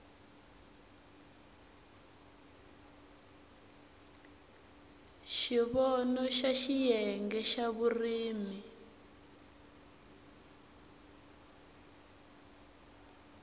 xivono xa xiyenge xa vurimi